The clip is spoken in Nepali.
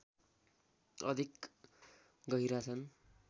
अधिक गहिरा छन्